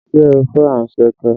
Ṣé ẹ fẹ́ anṣẹ̀kẹ́?